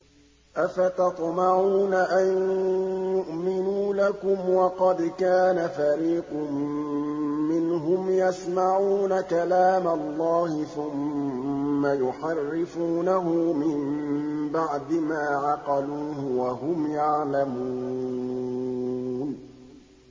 ۞ أَفَتَطْمَعُونَ أَن يُؤْمِنُوا لَكُمْ وَقَدْ كَانَ فَرِيقٌ مِّنْهُمْ يَسْمَعُونَ كَلَامَ اللَّهِ ثُمَّ يُحَرِّفُونَهُ مِن بَعْدِ مَا عَقَلُوهُ وَهُمْ يَعْلَمُونَ